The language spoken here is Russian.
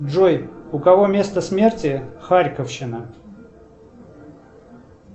джой у кого место смерти харьковщина